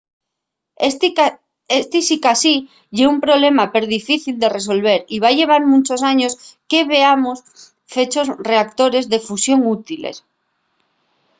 esti sicasí ye un problema perdifícil de resolver y va llevar munchos años que veamos fechos reactores de fusión útiles